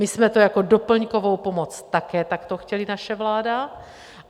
My jsme to jako doplňkovou pomoc také takto chtěli, naše vláda.